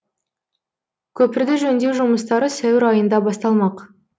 көпірді жөндеу жұмыстары сәуір айында басталмақ